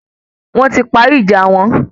Wọ́n ti parí ìjà wọn